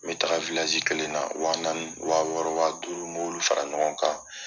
Me taga kelen na wa naani wa wɔɔrɔ wa duuru m'olu fara ɲɔgɔn kan.